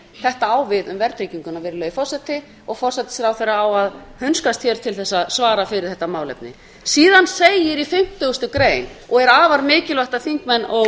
þetta á við verðtrygginguna virðulegi forseti og forsætisráðherra á að hunskast hér til þess að svara fyrir þetta málefni síðan segir í fimmtugustu grein og er afar mikilvægt að þingmenn